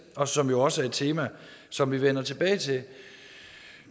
og som jo også er et tema som vi vender tilbage til